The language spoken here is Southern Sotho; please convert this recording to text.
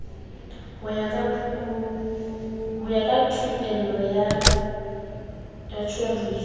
ho ya thupelong ya tjhoriso